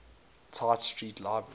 tite street library